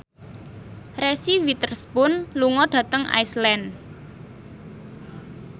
Reese Witherspoon lunga dhateng Iceland